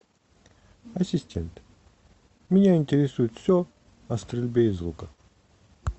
ассистент меня интересует все о стрельбе из лука